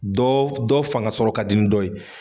Dɔɔ dɔ fanga sɔrɔ ka di ni dɔ ye.